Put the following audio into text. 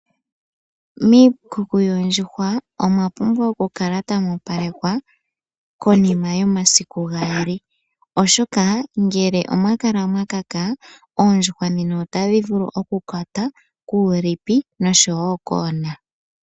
Miikuku yoondjuhwa omwa pumbwa oku kala tamu opalekwa konima yomasiku gaali oshoka , ngele omwa kala mwa kaka oondjuhwa otadhi vulu okukwata kuulipi nosho wo koona.